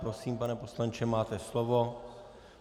Prosím, pane poslanče, máte slovo.